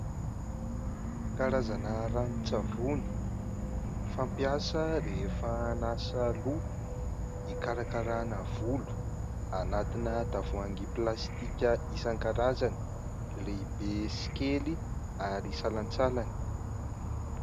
Karazana ranon-tsavony fampiasa rehefa anasa loha, hikarakarana volo, anatina tavoahangy plastika isankarazany, lehibe sy kely ary salantsalany.